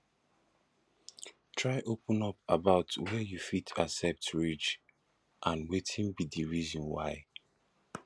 try open up about were you fit accept reach and wetin be di reason why